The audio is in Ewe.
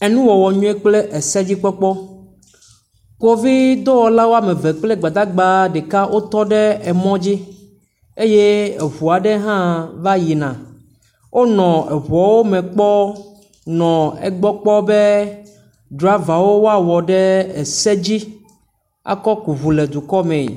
Enuwɔwɔ nyuie kple esedzikpɔkpɔ, kpovidɔwɔla woame eve kple gbadagba ɖeka wotɔ ɖe emɔ dzi eye eŋua aɖe hã va yina wonɔ eŋuawo me kpɔm kple susu be driavawo woawɔ ɖe ese dzi akɔ ku ŋu le dukɔ mee.